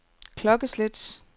klokkeslæt